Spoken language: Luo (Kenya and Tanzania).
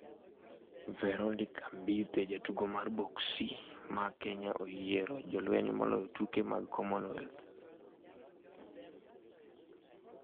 Veronica Mbithe: Jatugo mar boksi ma Kenya oyiero jolweny moloyo tuke mag Commonwealth